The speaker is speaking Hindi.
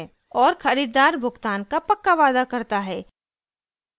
और खरीददार भुगतान का पक्का वादा करता है